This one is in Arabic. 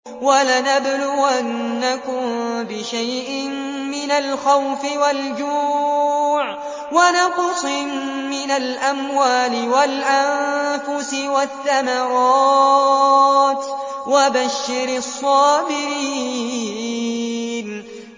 وَلَنَبْلُوَنَّكُم بِشَيْءٍ مِّنَ الْخَوْفِ وَالْجُوعِ وَنَقْصٍ مِّنَ الْأَمْوَالِ وَالْأَنفُسِ وَالثَّمَرَاتِ ۗ وَبَشِّرِ الصَّابِرِينَ